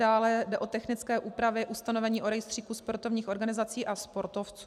Dále jde o technické úpravy ustanovení o rejstříku sportovních organizací a sportovců.